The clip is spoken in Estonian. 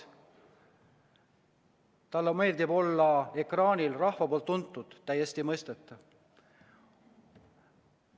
Tal on meeldiv olla ekraanil rahva poolt tuntud, täiesti mõistetav.